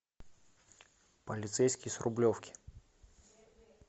полицейский с рублевки